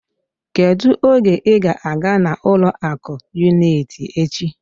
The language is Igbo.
Kedu oge ị ga-aga na ụlọ akụ unịtị echi?